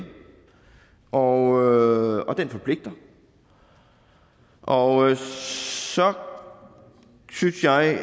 og den forpligter og så synes jeg